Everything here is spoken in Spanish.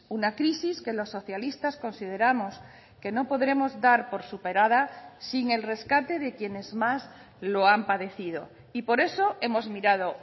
una crisis que los socialistas consideramos que no podremos dar por superada sin el rescate de quienes más lo han padecido y por eso hemos mirado